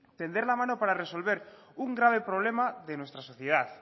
tender la mano para resolver un grave problema de nuestra sociedad